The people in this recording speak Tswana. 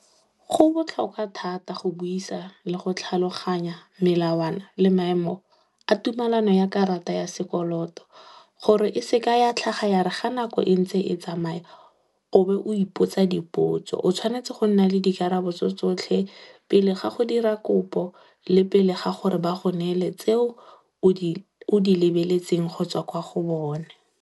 Go botlhokwa thata go buisa le go tlhaloganya melawana le maemo a tumalano ya karata ya sekoloto gore e seke ya tlhaga ya re ga nako e ntse e tsamaya, o be o ipotsa dipotso. O tshwanetse go nna le dikarabo tso tsotlhe pele ga go dira kopo le pele ga gore ba go neele tseo o di lebeletseng go tswa kwa go bone.